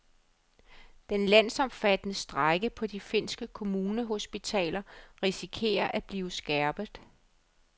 Den landsomfattende strejke på de finske kommunehospitaler risikerer at blive skærpet.